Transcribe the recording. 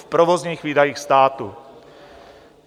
V provozních výdajích státu.